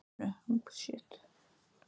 Hvítu rákirnar eru veðruð öskulög úr líparíti.